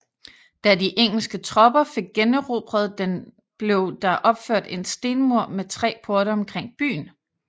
Da de engelske tropper fik generobret den blev der opført en stenmur med tre porte omkring byen